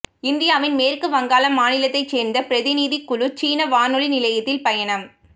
இந்தியாவின் மேற்கு வங்காளம் மாநிலத்தைச் சேர்ந்த பிரதிநிதிக் குழு சீன வானொலி நிலையத்தில் பயணம்